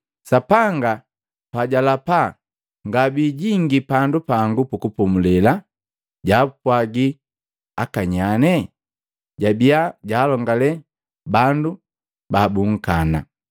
Sapanga pajalapa: “Ngabijingi pandu pangu pukupomule,” jabiya jaapwaji akanyanye? Jabiya jaalongale bandu babunkana.